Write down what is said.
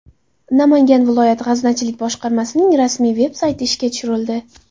Namangan viloyat g‘aznachilik boshqarmasining rasmiy veb-sayti ishga tushirildi.